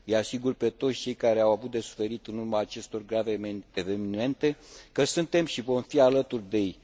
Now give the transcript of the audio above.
Îi asigur pe toți cei care au avut de suferit în urma acestor grave evenimente că suntem și vom fi alături de ei.